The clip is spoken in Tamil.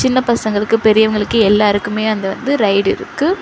சின்ன பசங்களுக்கு பெரியவங்களுக்கு எல்லாருக்குமே அந்த வந்து ரைட் இருக்கு.